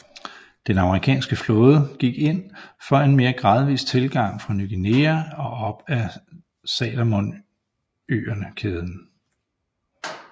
Den amerikanske flåde gik ind for en mere gradvis tilgang fra Ny Guinea og op ad Salomonøerneskæden